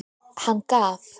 Hann gaf.